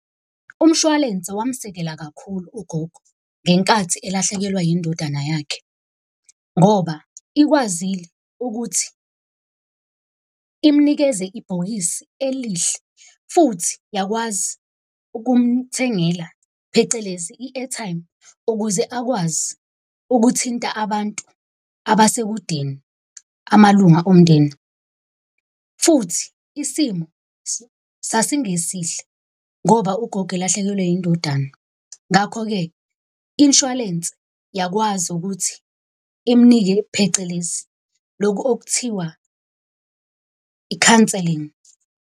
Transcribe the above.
Umshwalense wamsekela kakhulu ugogo ngenkathi elahlekelwa indodana yakhe. Ngoba ikwazile ukuthi imnikeze ibhokisi elihle. Futhi yakwazi ukumthengela phecelezi i-airtime, ukuze akwazi ukuthinta abantu abasekudeni amalunga omndeni. Futhi isimo sasingesihle ngoba ugogo elahlekelwe indodana. Ngakho-ke inshwalense yakwazi ukuthi imnike phecelezi lokhu okuthiwa i-counselling.